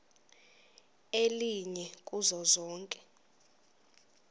elinye kuzo zonke